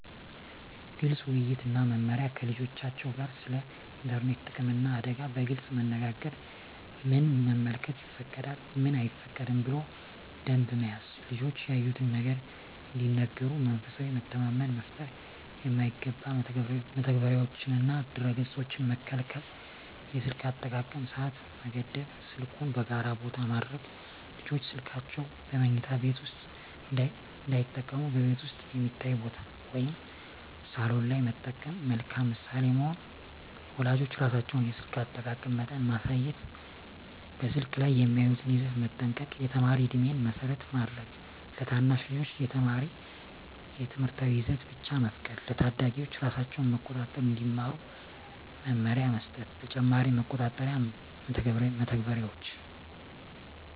ግልፅ ውይይት እና መመሪያ ከልጆቻቸው ጋር ስለ ኢንተርኔት ጥቅምና አደጋ በግልፅ መነጋገር ምን መመልከት ይፈቀዳል፣ ምን አይፈቀድም ብሎ ደንብ መያዝ ልጆች ያዩትን ነገር እንዲነግሩ መንፈሳዊ መተማመን መፍጠር የማይገባ መተግበሪያዎችንና ድረ-ገፆችን መከልከል የስልክ አጠቃቀም ሰዓት መገደብ ስልኩን በጋራ ቦታ ማድረግ ልጆች ስልካቸውን በመኝታ ቤት ውስጥ እንዳይጠቀሙ በቤት ውስጥ የሚታይ ቦታ (ሳሎን) ላይ መጠቀም መልካም ምሳሌ መሆን ወላጆች ራሳቸው የስልክ አጠቃቀም መጠን ማሳየት በስልክ ላይ የሚያዩትን ይዘት መጠንቀቅ የተማሪ ዕድሜን መሰረት ማድረግ ለታናሽ ልጆች የተማሪ ትምህርታዊ ይዘት ብቻ መፍቀድ ለታዳጊዎች ራሳቸውን መቆጣጠር እንዲማሩ መመሪያ መስጠት ተጨማሪ መቆጣጠሪያ መተግበሪያዎች